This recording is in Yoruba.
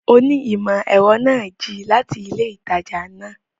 Onímọ̀-ẹ̀rọ náà jí láti ilé ìtajà náà